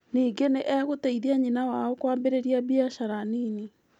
Ningĩ nĩ egũteithia nyina wao kwambĩrĩria biacara nini.